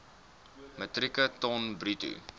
metrieke ton bruto